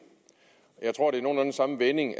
jeg tror det er nogenlunde samme vending